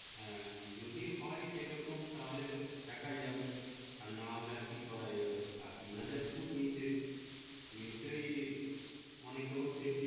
হা যদি হয় সেই রকম তাহলে দেখা যাবে আর না হলে কি করা যাবে আর তিনহাজার ফুট নিচে নিশ্চয় অনেকরকম সেপ্টি।